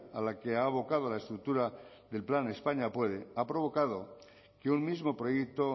a la que ha abocado la estructura del plan españa puede ha provocado que un mismo proyecto